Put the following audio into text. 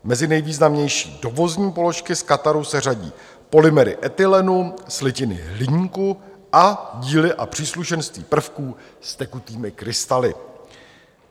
Mezi nejvýznamnější dovozní položky z Kataru se řadí polymery etylenu, slitiny hliníku a díly a příslušenství prvků s tekutými krystaly.